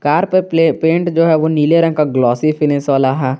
Car play paint जो है वह नीले रंग का ग्लासी फिनिश वाला है।